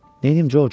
Neyləyim, Corc?